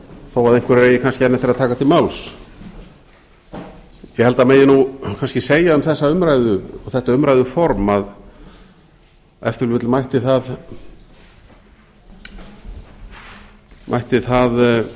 þó að einhverjir eigi kannski enn eftir að taka til máls ég held að það megi kannski segja um þessa umræðu og þetta umræðuform að ef til vill mætti það